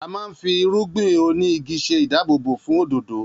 A máa ń fi irúgbìn oní igi ṣe ìdáàbòbò fún òdòdó